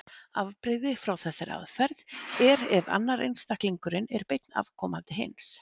Afbrigði frá þessari aðferð er ef annar einstaklingurinn er beinn afkomandi hins.